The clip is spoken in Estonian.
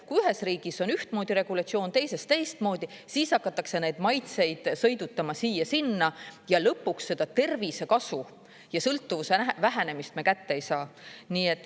Kui ühes riigis on ühtmoodi regulatsioon, teises teistmoodi, siis hakatakse neid maitseid sõidutama siia-sinna ja lõpuks seda tervisekasu ja sõltuvuse vähenemist me kätte ei saa.